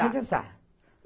Tá a realizar.